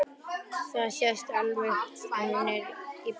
Það sést alveg að hún er í ballett.